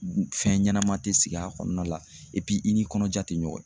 Fɛn ɲɛnama te sigi a kɔnɔna la i ni kɔnɔja te ɲɔgɔn